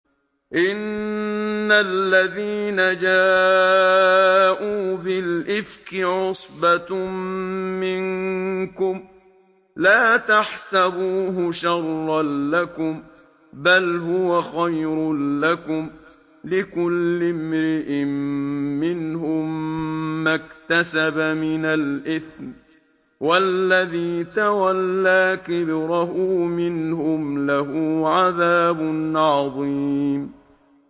إِنَّ الَّذِينَ جَاءُوا بِالْإِفْكِ عُصْبَةٌ مِّنكُمْ ۚ لَا تَحْسَبُوهُ شَرًّا لَّكُم ۖ بَلْ هُوَ خَيْرٌ لَّكُمْ ۚ لِكُلِّ امْرِئٍ مِّنْهُم مَّا اكْتَسَبَ مِنَ الْإِثْمِ ۚ وَالَّذِي تَوَلَّىٰ كِبْرَهُ مِنْهُمْ لَهُ عَذَابٌ عَظِيمٌ